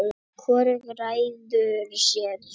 hvorugt ræður sér sjálft